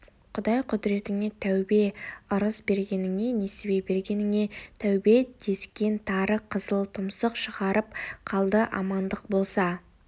құдай құдіретіңе тәубе ырыс бергеніңе несібе бергеніңе тәубе дескен тары қызыл тұмсық шығарып қалды амандық болса